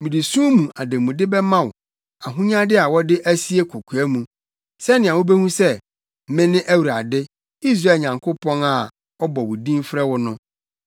Mede sum mu ademude bɛma wo ahonyade a wɔde asie kokoa mu sɛnea wubehu sɛ, mene Awurade, Israel Nyankopɔn, a ɔbɔ wo din frɛ wo no.